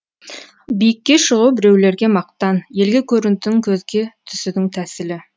биікке шығу біреулерге мақтан елге көрінудің көзге түсудің тәсілі